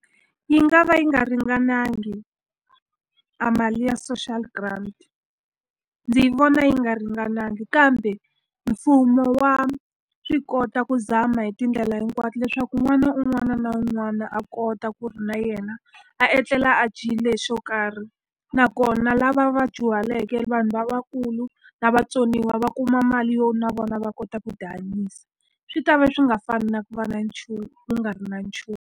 Yi nga va yi nga ringanangi a mali ya social grant. Ndzi vona yi nga ringanangi, kambe mfumo wa swi kota ku zama hi tindlela hinkwato leswaku n'wana un'wana na un'wana a kota ku ri na yena a etlela a dyile xo karhi. Nakona lava va dyuhaleke vanhu lavakulu na vatsoniwa va kuma mali yo na vona va kota ku tihanyisa. Swi ta va swi nga fani na ku va na nchumu ku nga ri na nchumu.